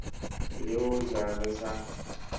le ho ja re sa